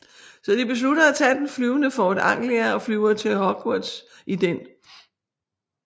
Så de beslutter at tage den flyvende Ford Anglia og flyver til Hogwarts i den